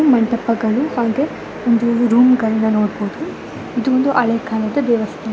ಮಂಟಪಗಳು ಹಾಗೆ ಒಂದು ರೂಮ್ಗಳನ್ನ ನೋಡಬಹುದು ಇದು ಒಂದು ಹಳೆಕಾಲದ ದೇವಸ್ಥಾನ.